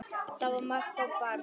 Það var margt á barnum.